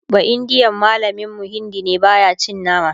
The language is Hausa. baindiyan mallamin mu Hindi ne baya cin nama